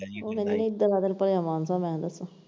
ਉਹ ਕਹਿੰਦੀ ਇਧਰ ਆ ਤੈਨੂੰ ਭਲਿਆ ਮਾਨਸਾ ਮੈਂ ਦੱਸਾਂ।